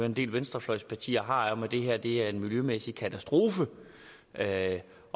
en del venstrefløjspartier har om at det her er en miljømæssig katastrofe og at